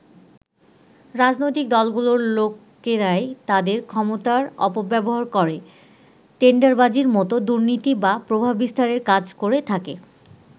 রাজনৈতিক দলগুলোর লোকেরাই তাদের ক্ষমতার অপব্যবহার করে টেন্ডারবাজির মতো দুর্নীতি বা প্রভাব বিস্তারের কাজ করে থাকে।